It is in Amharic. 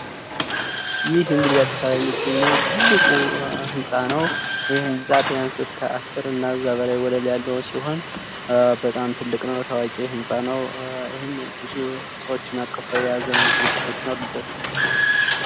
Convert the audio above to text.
ይህ እንግዲህ በአዲስ አበባ የሚገኝ ትልቁ ህንጻ ነው፤ ቢያንስ ከ አስር በላይ ወለሎች አሉት፤ ብዙ ሰዎችን እና ድርጅቶችን የያዘ ህንጻ ነው።